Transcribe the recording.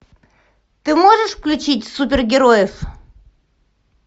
ты можешь включить супергероев